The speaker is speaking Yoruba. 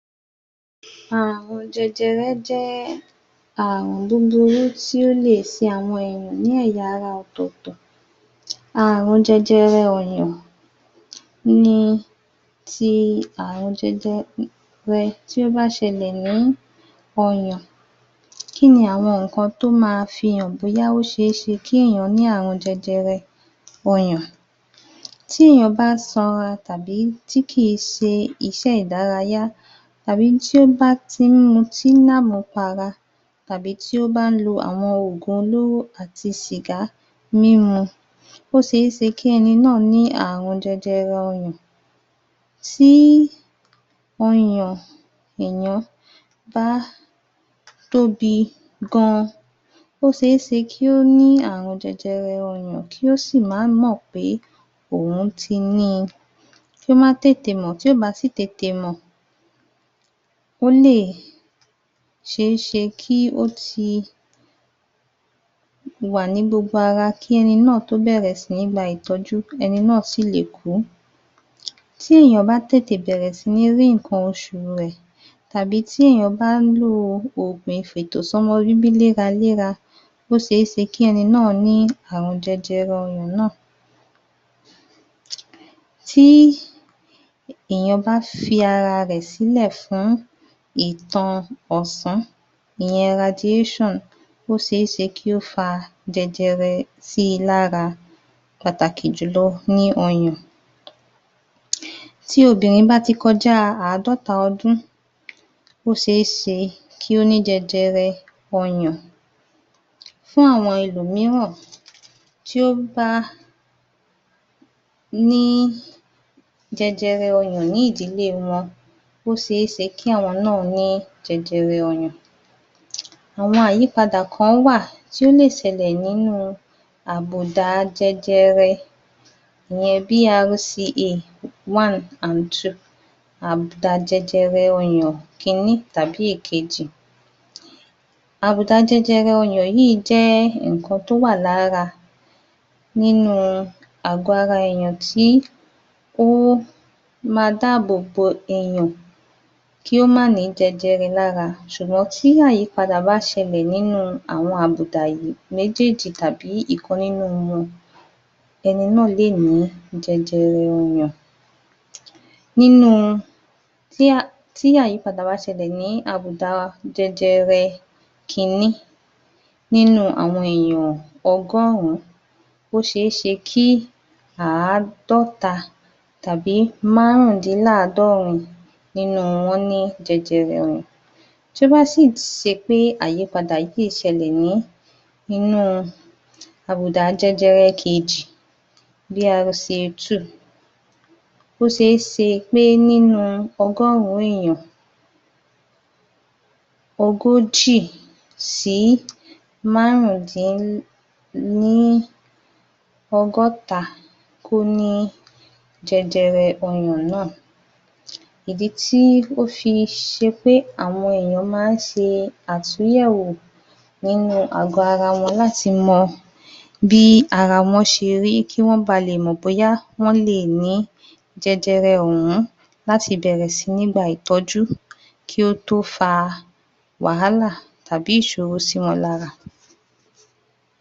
Àrùn jẹjẹrẹ jẹ́ àrùn búburú tí ó lè ṣe àwọn ènìyàn ní ẹ̀ya ara ọ̀tọ̀ọ̀tọ̀. Àrùn jẹjẹrẹ ọyàn ni ti àrùn jẹjẹrẹ tí ó bá ṣẹlẹ̀ ní ọyàn. Kí ni àwọn nǹkan tí ó ma fi hàn bóyá ó ṣe é ṣe kí ènìyàn ní àrùn jẹjẹrẹ ọyàn? Tí èèyàn bá sanra tàbí tí kì í ṣe iṣẹ́ ìdárayá, tàbí tí ó bá ti ń mutí lámùú para, tàbí tí ó bá ń lo àwọn ògùn olóró àti sìgá mímu, ó ṣe é ṣe kí ẹni náà ní àrùn jẹjẹrẹ ọyàn. Tí ọyàn èèyàn bá tóbi gan-an, ó ṣe é ṣe kí ó ní àrùn jẹjẹrẹ ọyàn kí ó sì má mọ̀ pé òun ti ní i. Kó má tètè mọ̀ tí kò bá sì tètè mọ̀, ó lè ṣe é ṣe kí ó ti wà ní gbogbo ara kí ẹni náà tó bẹ̀rẹ̀ sí ní gba ìtọ́jú, ẹni náà sì le kú. Tí èèyàn bá tètè bẹ̀rẹ̀ sí ní rí nnkan oṣù rẹ̀, tabi tí èèyàn bá ń lo ògùn ìfètò-sọ́mọ-bíbí léraléra, ó ṣe é ṣe kí ẹni náà ní àrùn jẹjẹrẹ ọyàn náà. Tí èèyàn bá fi ara rẹ̀ sí lẹ̀ fún ìtan ọ̀sán ìyẹn radiation, ó ṣe é ṣe kí ó fa jẹjẹrẹ sí I lára pàtàkì jù lọ ní ọyàn. Tí obìnrin bá ti kọjá àádọ́ta ọdún, ó ṣe é ṣe kí ó ní jẹjẹrẹ ọyàn. Fún àwọn ẹlòmíràn tí ó bá ní jẹjẹrẹ ọyàn ní ìdílé wọn, ó ṣe é ṣe kí àwọn náà ní jẹjẹrẹ ọyàn. Àwọn àyípadà ka wà tí ó lè ṣẹlẹ̀ nínú àbùdá jẹjẹrẹ ìyẹn BRCA 1 & 2 àbùdá jẹjẹrẹ ọyàn kiní tàbí èkejì. Àbùdá jẹjẹrẹ ọyàn yíì jẹ́ nnkan tó wà lára, nínú àgọ ara èèyàn tí ó ma dáàbò èèyàn kí ó má nì í jẹjẹrẹ lára. Ṣùgbọ́n tí àyípadà bá ṣẹlẹ̀ nínú àwọn àbùdá yìí, méjèèjì tàbí ìkan nínú wọn, ẹni náà lè ní àrùn jẹjẹrẹ ọyàn. Tí àyípadà bá ṣẹlẹ̀ nínú àbùdá jẹjẹrẹ kiní nínú àwọn èèyàn ọgọ́rùn-ún, ó ṣe é ṣe kí àádọ́ta, tàbí márùn-ún dín láàádọ́rin nínú wọn ni jẹjẹrẹ ọyàn. Tó bá sì ṣe pé àyípadà yìí ṣẹlẹ̀ ní inú àbùdá jẹjẹrẹ kejì, BRCA 2, ó ṣe é ṣe pé nínú ọgọ́rùn-ún èèyàn ogójì sí márùn-ún dín ni ọgọ́ta kó ní jẹjẹrẹ ọyàn náà. Ìdí tí ó fi ṣe pé àwọn ènìyàn máa ń ṣe àtúnyẹ̀wọ̀ nínú àgọ ara wọn láti mọ bí ara wọ́n ṣe rí, kí wọ́n ba lè mọ̀ bóyá wọ́n lè ní jẹjẹrẹ òhun láti béèrè sí ní gba ìtọ́jú kí ó tó fa wàhálà tàbí ìṣòro sí wọn lára.